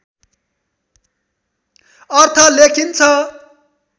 अर्थ लेखिन्छ